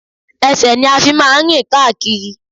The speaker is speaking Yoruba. Ẹsẹ̀ ni a fi máa ń rìn káàkiri